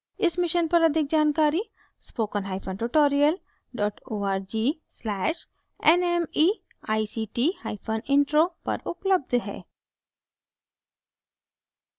इस mission पर अधिक जानकारी spoken hyphen tutorial dot org slash nmeict hyphen intro पर उपलब्ध है